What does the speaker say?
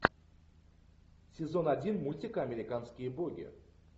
сезон один мультика американские боги